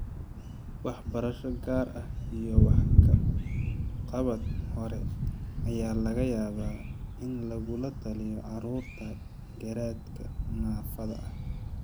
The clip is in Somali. Waxbarasho gaar ah iyo wax ka qabad hore ayaa laga yaabaa in lagula taliyo carruurta garaadka naafada ah.